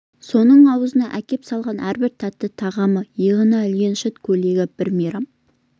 соның аузына әкеп салған әрбір тәтті тағамы иығына ілген шыт көйлегі бір мейрам